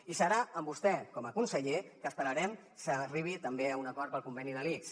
i serà amb vostè com a conseller que esperarem que s’arribi també a un acord per al conveni de l’ics